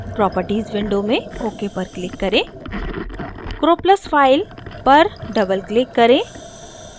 properties window में ok पर click करें croplus फ़ाइल पर double click करें